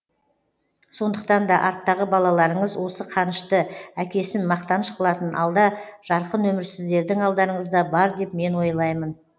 сондықтан да арттағы балаларыңыз осы қанышты әкесін мақтаныш қылатын алда жарқын өмір сіздердің алдарыңызда бар деп мен ойлаймын